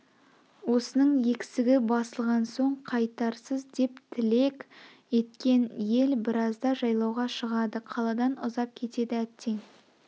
осының өксігі басылған соң қайтарсыз деп тілек еткен ел біразда жайлауға шығады қаладан ұзап кетеді әттең